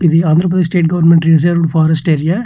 ఇది Andhra Pradesh state government reserved forest area .